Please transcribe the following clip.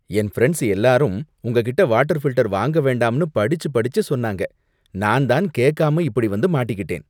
என் friends எல்லாரும் உங்ககிட்ட water filter வாங்க வேண்டாம்னு படிச்சு படிச்சு சொன்னாங்க, நான் தான் கேக்காம இப்படி வந்து மாட்டிக்கிட்டேன்.